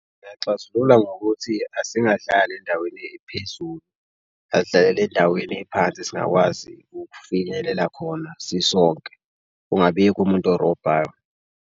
Ngingaxazulula ngokuthi asingadlali endaweni ephezulu, asidlalele endaweni ephansi esingakwazi ukufinyelela khona sisonke. Kungabikho umuntu orobhayo.